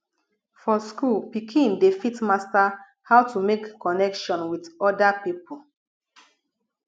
for school pikin dey fit master how to make connection with oda people